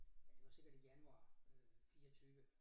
Ja det var sikkert i januar øh 24